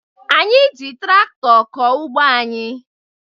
Anyị ji traktọ kọọ ugbo anyị